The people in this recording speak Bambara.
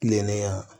Kilennenya